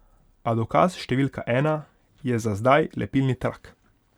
A dokaz številka ena je za zdaj lepilni trak.